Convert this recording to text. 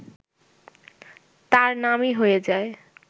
তাঁর নামই হয়ে যায়